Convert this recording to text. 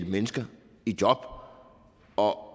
mennesker i job og